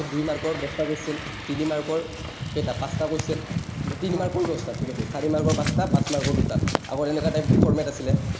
তাৰপিছত দুই mark ৰ দহটা question, তিনি mark ৰ কেইটা, পাঁচটা question, তিনি mark ৰো দহটা, ঠিক আছে। চাৰি mark ৰ পাঁচটা, পাঁচ mark ৰ দুটা, আগৰ এনেকা type format আছিলে।